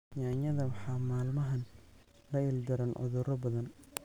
Yaanyada waxaa maalmahan la ildaran cudurro badan.